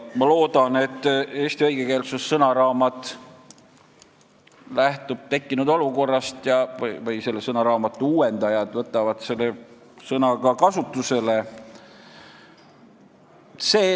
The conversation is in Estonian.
Ma loodan, et eesti õigekeelsussõnaraamatu uuendajad lähtuvad tekkinud olukorrast ja võtavad ka selle sõna kasutusele.